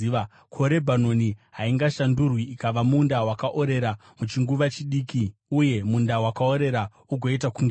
Ko, Rebhanoni haingashandurwi ikava munda wakaorera muchinguva chidiki, uye munda wakaorera ugoita kunge dondo?